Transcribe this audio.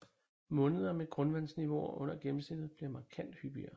Måneder med grundvandsniveauer under gennemsnittet bliver markant hyppigere